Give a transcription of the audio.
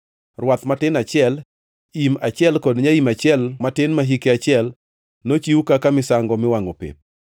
rwath matin achiel, im achiel kod nyaim achiel matin ma hike achiel, nochiw kaka misango miwangʼo pep;